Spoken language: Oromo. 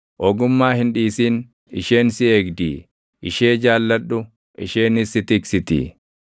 Ogummaa hin dhiisin; isheen si eegdii; ishee jaalladhu; isheenis si tiksitii.